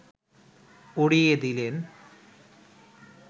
উড়িয়ে দিলেন